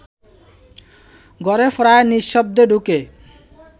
ঘরে প্রায় নিঃশব্দে ঢুকে